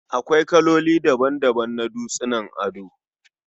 Akwai kaloli daban-daban na dutsunan ado